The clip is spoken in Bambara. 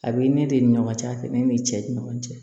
A bɛ ne de ni ɲɔgɔn cɛ a tɛ ne ni cɛ ni ɲɔgɔn cɛ